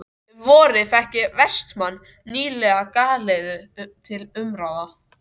Um vorið fékk Vestmann nýlega galeiðu til umráða.